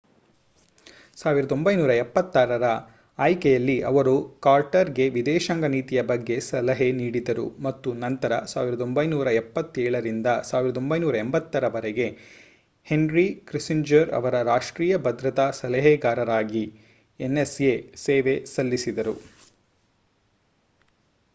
1976 ರ ಆಯ್ಕೆಯಲ್ಲಿ ಅವರು ಕಾರ್ಟರ್‌ಗೆ ವಿದೇಶಾಂಗ ನೀತಿಯ ಬಗ್ಗೆ ಸಲಹೆ ನೀಡಿದರು ಮತ್ತು ನಂತರ 1977 ರಿಂದ 1981 ರವರೆಗೆ ಹೆನ್ರಿ ಕಿಸ್ಸಿಂಜರ್ ಅವರ ರಾಷ್ಟ್ರೀಯ ಭದ್ರತಾ ಸಲಹೆಗಾರರಾಗಿ ಎನ್‌ಎಸ್‌ಎ ಸೇವೆ ಸಲ್ಲಿಸಿದರು